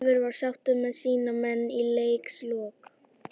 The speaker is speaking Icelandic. Leifur var sáttur með sína menn í leikslok.